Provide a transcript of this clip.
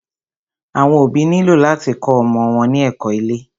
Àwọn òbí nílò láti kó ọmọ wọn ní ẹ̀kó ilé.